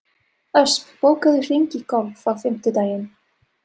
Ösp, bókaðu hring í golf á fimmtudaginn.